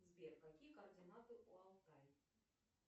сбер какие координаты у алтай